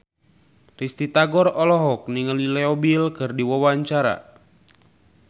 Risty Tagor olohok ningali Leo Bill keur diwawancara